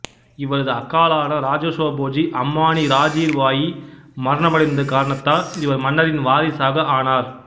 இவரது அக்காளான ராஜசோ போஜு அம்மாணி ராஜுர் பாயி மரணமடைந்த காரணத்தால் இவர் மன்னரின் வாரிசாக ஆனார்